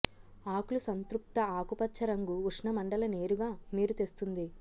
ఆకులు సంతృప్త ఆకుపచ్చ రంగు ఉష్ణమండల నేరుగా మీరు తెస్తుంది